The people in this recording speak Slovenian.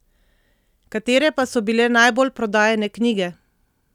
Katere pa so bile najbolj prodajane knjige?